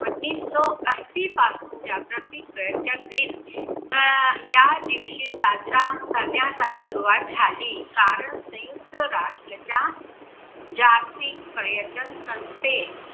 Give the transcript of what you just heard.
उन्निसो अस्सी पासून जागतिक पर्यटन दिन अं या दिवशी साजरा करण्यासाठी सुरुवात झाली. कारण संयुक्त राष्टच्या